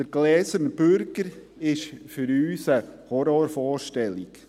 Der gläserne Bürger ist für uns eine Horrorvorstellung.